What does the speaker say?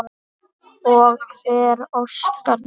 Og hver óskar þess?